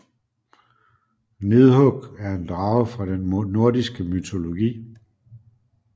Nidhug er en drage fra den nordiske mytologi